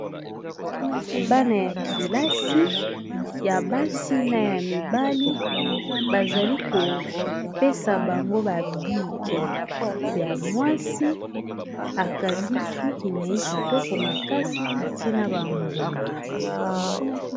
bana ya kilasi ya basi na ya mibali bazali kopesa bango babike ya mwasi akangi suki nai kitoko makasi atina bambuma